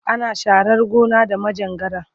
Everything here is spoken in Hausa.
Ana sharar gona da manjagara.